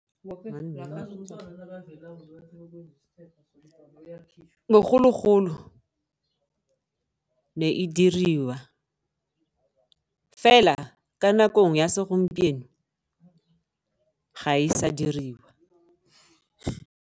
Bogologolo ne e diriwa fela ka nakong ya segompieno ga e sa diriwa.